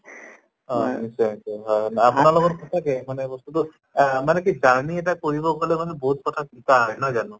হয় আত্চ্ছা আত্চ্ছা হয় হয় আপোনালোকৰ মানে সঁচাকে মানে বস্তুটো আহ মানে কি journey এটা কৰিব গʼলে মানে বহুত কথা শিকা হয় নহয় জানো?